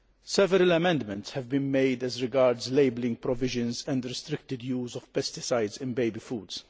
Several amendments have been made as regards labelling provisions and restricted use of pesticides in baby foods.